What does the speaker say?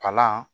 Kalan